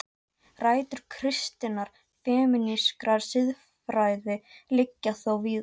Rætur kristinnar femínískrar siðfræði liggja þó víðar.